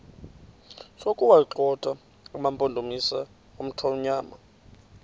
sokuwagxotha amampondomise omthonvama